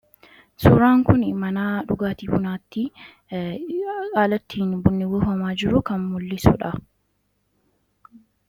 Suuraan kuni mana dhugaatii bunaatti haala ittiin bunni buufamaa jiru kan mul'isudha.